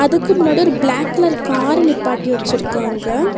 அதுக்கு முன்னாடி ஒரு ப்ளாக் கலர் கார் நிப்பாட்டி வெச்சுருக்காங்க.